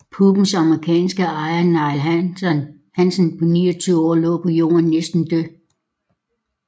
Pubbens amerikanske ejer Neil Hansen på 29 år lå på jorden næsten død